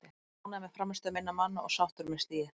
Ég er ánægður með frammistöðu minna manna og sáttur með stigið.